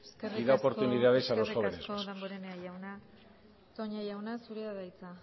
y da oportunidades a las jóvenes eskerrik asko damborenea jauna toña jauna zurea da hitza